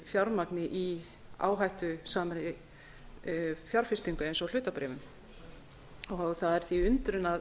fjármagni í áhættusamri fjárfestingu eins og hlutabréfum það er því undrun að